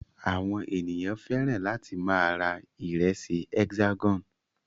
Àwọn ènìyàn fẹ́ràn láti máa ra ìrẹsì Hexagon.